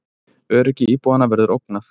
Öryggi íbúanna verður ógnað